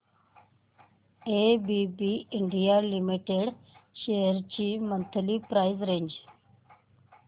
ABB India limited shares ची monthly price range